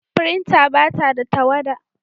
Firintar ba ta da tawada.